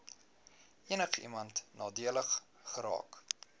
enigiemand nadelig geraak